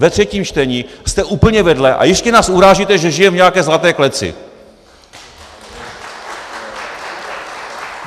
Ve třetím čtení jste úplně vedle a ještě nás urážíte, že žijeme v nějaké zlaté kleci.